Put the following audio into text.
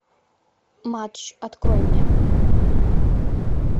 матч открой мне